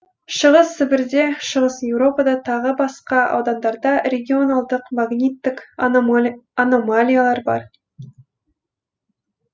шығыс сібірде шығыс еуропада тағы басқа аудандарда регионалдық магниттік аномалиялар бар